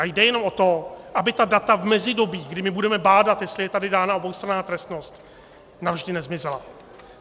A jde jenom o to, aby ta data v mezidobí, kdy my budeme bádat, jestli je tady dána oboustranná trestnost, navždy nezmizela.